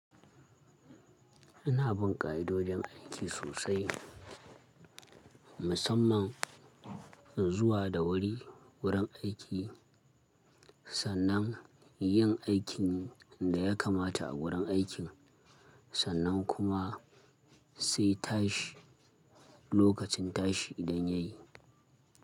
Ina bin ka'idojin aiki sosai, musamman zuwa da wuri wurin aiki, sannan yin aikin da ya kamata a wurin aikin, sannan kuma sai tashi lokacin tashi idan ya yi.